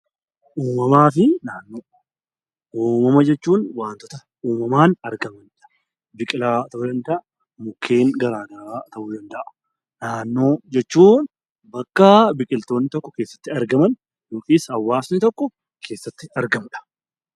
Uumamaa fi naannoo Uumama jechuun waantota uumamaan argamani dha. Biqilaa ta'uu danda'a; mukkeen garaagaraa ta'uu danda'a. Naannoo jechuun bakka biqiltoonni tokko keessatti argaman yookiis hawaasni tokko keessatti argamu dha.